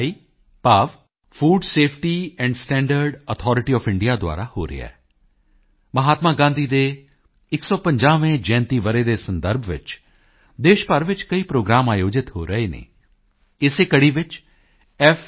ਆਈ ਭਾਵ food safety and standard authority of India ਦੁਆਰਾ ਹੋ ਰਿਹਾ ਹੈ ਮਹਾਤਮਾ ਗਾਂਧੀ ਦੇ 150ਵੇਂ ਜਯੰਤੀ ਵਰ੍ਹੇ ਦੇ ਸੰਦਰਭ ਵਿੱਚ ਦੇਸ਼ ਭਰ ਵਿੱਚ ਕਈ ਪ੍ਰੋਗਰਾਮ ਆਯੋਜਿਤ ਹੋ ਰਹੇ ਹਨ ਇਸੇ ਕੜੀ ਵਿੱਚ f